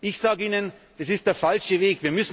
Ich sage Ihnen, das ist der falsche Weg.